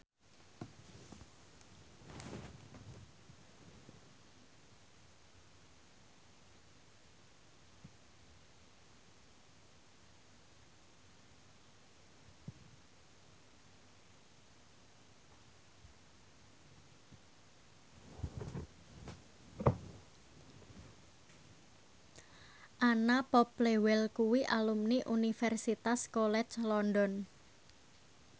Anna Popplewell kuwi alumni Universitas College London